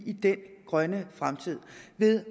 ved